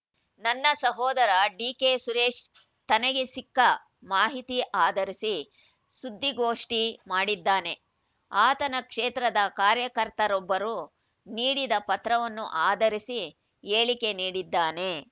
ನನ್ನ ಸಹೋದರ ಡಿಕೆ ಸುರೇಶ್‌ ತನಗೆ ಸಿಕ್ಕ ಮಾಹಿತಿ ಆಧರಿಸಿ ಸುದ್ದಿಗೋಷ್ಠಿ ಮಾಡಿದ್ದಾನೆ ಆತನ ಕ್ಷೇತ್ರದ ಕಾರ್ಯಕರ್ತರೊಬ್ಬರು ನೀಡಿದ ಪತ್ರವನ್ನು ಆಧರಿಸಿ ಹೇಳಿಕೆ ನೀಡಿದ್ದಾನೆ